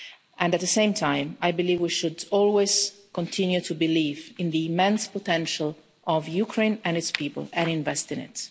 And at the same, I believe we should always continue to believe in the immense potential of Ukraine and its people and invest in